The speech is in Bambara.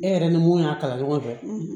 E yɛrɛ ni mun y'a kalan ɲɔgɔn fɛ